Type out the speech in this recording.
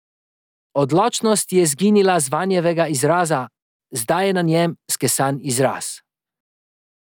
Odločnost je izginila z Vanjevega izraza, zdaj je na njem skesan izraz.